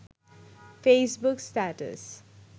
Facebook status